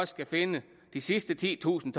skal finde de sidste titusind